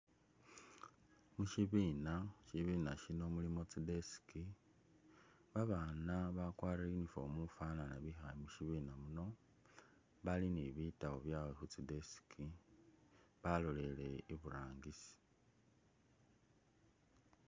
Mushibina, shibiina shino mulimo tsi desk babana bakwarile uniform ufanana bikhale mushibiina muno bali ni bitabu byawe khutsi deski baloleye iburangisi.